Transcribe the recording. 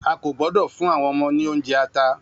A kò gbọ́dọ̀ fún àwọn ọmọ ní oúnjẹ ata.